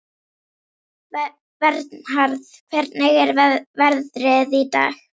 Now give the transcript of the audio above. Vernharð, hvernig er veðrið í dag?